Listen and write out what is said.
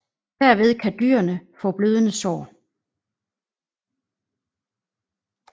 Derved kan dyrene få blødende sår